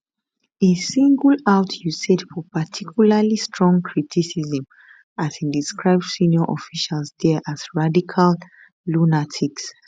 e single out usaid for particularly strong criticism as e describe senior officials there as radical lunatics